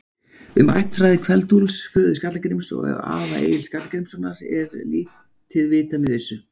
Um ættfræði Kveld-Úlfs, föður Skalla-Gríms og afa Egils Skalla-Grímssonar, er lítið vitað með vissu.